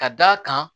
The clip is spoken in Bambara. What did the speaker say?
Ka d'a kan